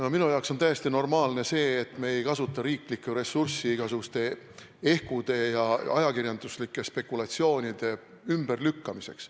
No minu jaoks on tõesti normaalne see, et me ei kasuta riiklikku ressurssi igasuguste ehkude ja ajakirjanduslike spekulatsioonide ümberlükkamiseks.